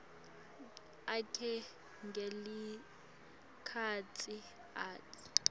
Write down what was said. akhe ngalesikhatsi atsi